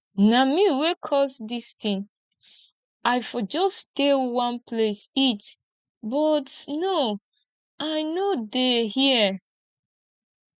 na me wey cause dis thing i for just stay one place eat but no i no dey hear